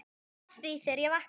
Var að því þegar ég vaknaði.